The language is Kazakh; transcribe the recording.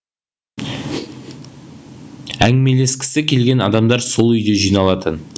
әңгімелескісі келген адамдар сол үйде жиналатын